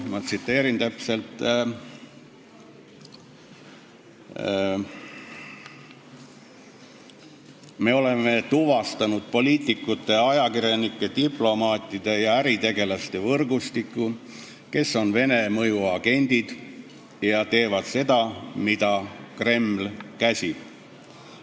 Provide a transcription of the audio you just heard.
Ma tsiteerin täpselt: "Me oleme tuvastanud poliitikute, ajakirjanike, diplomaatide ja äritegelaste võrgustiku, kes on Vene mõjuagendid ja teevad seda, mida Kreml käsib.